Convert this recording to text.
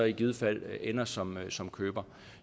i givet fald ender som som køber